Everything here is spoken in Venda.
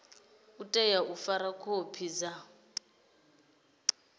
tea u fara khophi sa